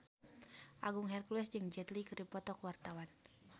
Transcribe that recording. Agung Hercules jeung Jet Li keur dipoto ku wartawan